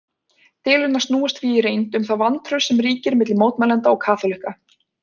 Deilurnar snúast því í reynd um það vantraust sem ríkir milli mótmælenda og kaþólikka.